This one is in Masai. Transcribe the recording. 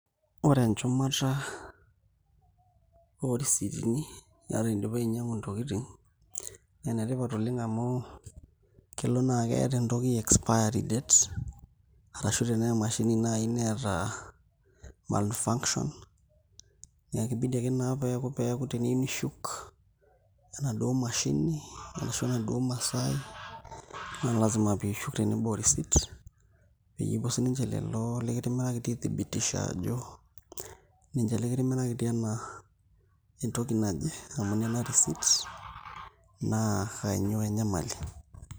Ore enchumata oo risiitini enoshi kata indipa ainyiang'u ntokitin naa enetipat oleng' amu kelo niata neeta entoki expiry date arashu tenaa emashini naai neeta malfunction naa ekibidi ake naa pee eku teniyieu nishuk enaduo mashini arashu enaduo masaai naa lasima piishuk tenebo orisiit pee epuo sininche lelo likitimirakitia aithibitisha aajo ninche likitimirakitia ena entoki naje amu nena risiit naa kainyioo enyamali.